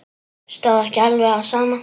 Stóð ekki alveg á sama.